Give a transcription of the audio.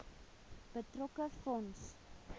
betrokke fonds